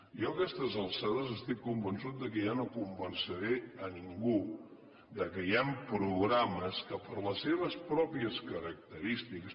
jo a aquestes alçades estic convençut que ja no convenceré ningú que hi han programes que per les seves pròpies característiques